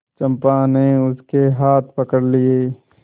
चंपा ने उसके हाथ पकड़ लिए